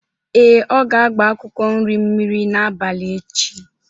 Ee, ọ ga-agba akwụkwọ nri mmiri n'abalị echi.